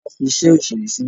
Tọ́lá fi iṣẹ́ òṣèré sílẹ̀.